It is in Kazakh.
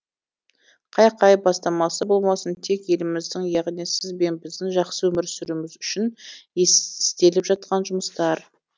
қай қай бастамасы болмасын тек еліміздің яғни сіз бен біздің жақсы өмір сүруіміз үшін істеліп жатқан жұмыстар